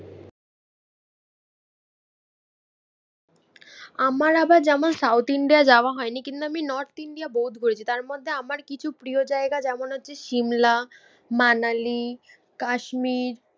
আমার আবার যেমন সাউথ ইন্ডিয়া যাওয়া হয়নি কিন্তু আমি নর্থ ইন্ডিয়া বহুত ঘুরেছি। তার মধ্যে আমার কিছু প্রিয় জায়গা যেমন হচ্ছে সিমলা, মানালি, কাশ্মীর